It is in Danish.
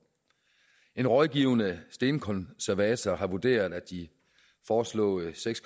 en rådgivende stenkonservator har vurderet at de foreslåede seks